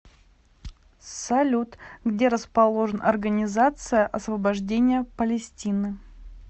салют где расположен организация освобождения палестины